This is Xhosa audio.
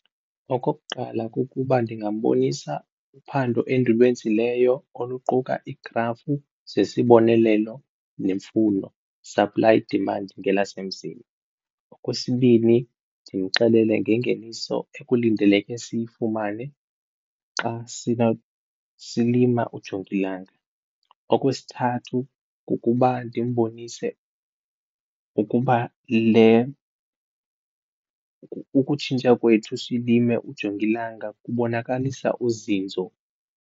Okokuqala, kukuba ndingambonisa uphando endulwenzileyo oluquka igrafu zesibonelelo nemfuno supply demand ngelasemzini. Okwesibini, ndimxelele ngengeniso ekulindeleke siyifumane xa silima ujongilanga. Okwesithathu, kukuba ndimbonise ukuba le ukutshintsha kwethu silime ujongilanga kubonakalisa uzinzo.